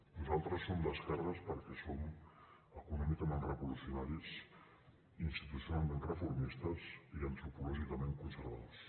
nosaltres som d’esquerres perquè som econòmicament revolucionaris institucionalment reformistes i antropològicament conservadors